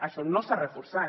això no s’ha reforçat